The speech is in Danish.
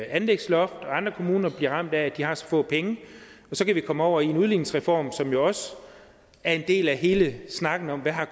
anlægsloft og andre kommuner bliver ramt af at de har så få penge og så kan vi komme over i en udligningsreform som jo også er en del af hele snakken om hvad